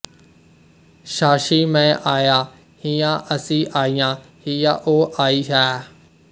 ਛਾਛੀ ਮੈਂ ਆਇਆ ਹੀਆਂ ਅਸੀਂ ਆਈਆਂ ਹੀਆ ਉਹ ਆਈ ਹੈਅ